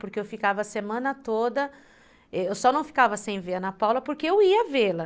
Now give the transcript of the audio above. Porque eu ficava a semana toda... Eu só não ficava sem ver a Ana Paula porque eu ia vê-la.